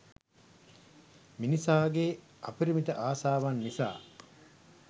මිනිසාගේ අපරිමිත ආශාවන් නිසා